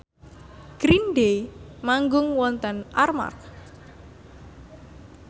Green Day manggung wonten Armargh